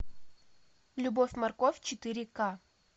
любовь морковь четыре ка